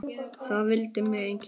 Það vildi mig enginn!